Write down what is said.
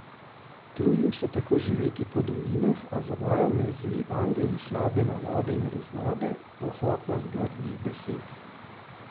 Trudim se tako živeti po dolinah, a zavajajo me zli angeli, slabe navade in razvade, pohotnost grdih besed.